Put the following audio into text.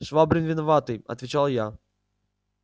швабрин виноватый отвечал я